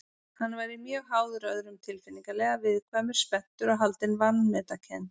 Hann væri mjög háður öðrum tilfinningalega, viðkvæmur, spenntur og haldinn vanmetakennd.